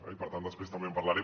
i per tant després també en parlaré